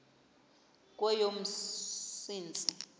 kweyomsintsi